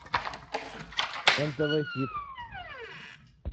нтв хит